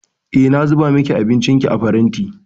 Eh, na zuba miki abincinki a faranti.